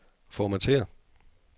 Formatér.